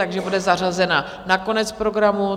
Takže bude zařazena na konec programu.